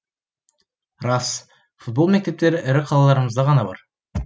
рас футбол мектептері ірі қалаларымызда ғана бар